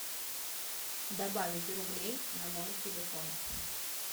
добавить рублей на мой телефон